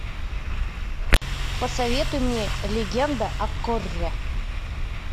посоветуй мне легенда о корре